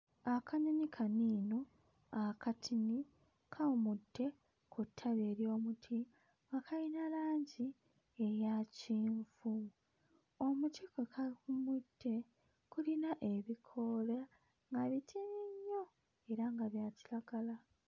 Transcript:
Akanyonyi kano eno akatini kawumudde ku ttabi ery'omuti nga kayina langi eya kyenvu. Omuti kwe kawummudde gulina ebikoola nga bitini nnyo era nga bya kiragala.